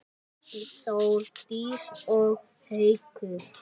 Þórdís og Haukur.